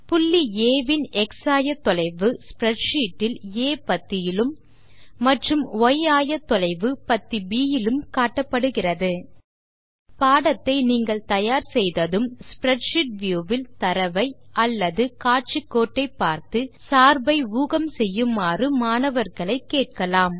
புள்ளி ஆ இன் எக்ஸ் ஆயத்தொலைவு ஸ்ப்ரெட்ஷீட் இல் ஆ பத்தியிலும் மற்றும் ய் ஆயத்தொலைவு பத்தி ப் இலும் காட்டப்படுகிறது பாடத்தை நீங்கள் தயார் செய்ததும் ஸ்ப்ரெட்ஷீட் வியூ வில் தரவை அல்லது காட்சிக்கோட்டை பார்த்து சார்பை ஊகம் செய்யுமாறு மாணவர்களை கேட்கலாம்